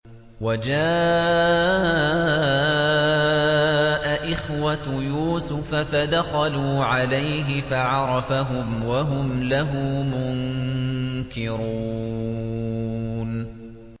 وَجَاءَ إِخْوَةُ يُوسُفَ فَدَخَلُوا عَلَيْهِ فَعَرَفَهُمْ وَهُمْ لَهُ مُنكِرُونَ